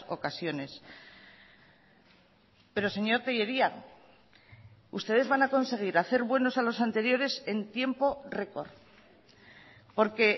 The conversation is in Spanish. ocasiones pero señor tellería ustedes van a conseguir hacer buenos a los anteriores en tiempo récord porque